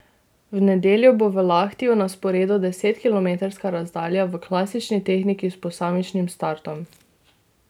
V nedeljo bo v Lahtiju na sporedu desetkilometrska razdalja v klasični tehniki s posamičnim startom.